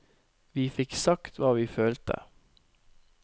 Vi fikk sagt hva vi følte.